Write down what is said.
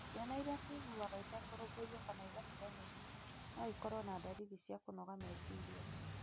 Ciana iria ciiguaga itarũmbũiyo kana igatiganĩrio no ikorũo na ndariri cia kũnoga meciria.